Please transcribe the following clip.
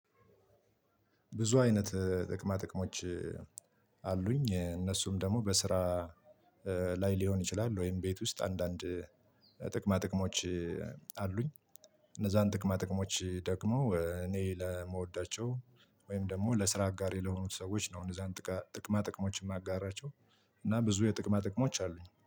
ብዙ አይነት ጥቅማ ጥቅሞች አሉኝ እነሱም ደግሞ በስራ ላይ ሊሆን ይችላል። ወይም ቤት ውስጥ አንዳንድ ጥቅማ ጥቅሞች አሉኝ። እነዛን ጥቅማ ጥቅሞች ደግሞ እኔ ለመወዳቸው ወይም ደግሞ ለስራ አጋሬ ለሆኑት ሰዎች ነው። እነዛን ጥቅማ ጥቅሞችን ማጋራቸው እና ብዙ የጥቅማ ጥቅሞች አሉኝ